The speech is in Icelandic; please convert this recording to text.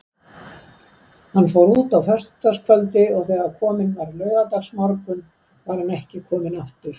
Hann fór út á föstudagskvöldi og þegar kominn var laugardagsmorgunn var hann ekki kominn aftur.